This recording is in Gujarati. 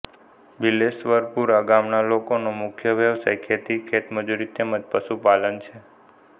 બિલેશ્વરપુરા ગામના લોકોનો મુખ્ય વ્યવસાય ખેતી ખેતમજૂરી તેમ જ પશુપાલન છે